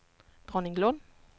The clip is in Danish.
Dronninglund